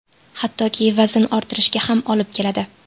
Hattoki vazn ortishiga ham olib keladi.